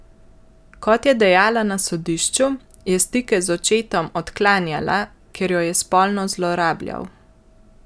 Kot je dejala na sodišču, je stike z očetom odklanjala, ker jo je spolno zlorabljal.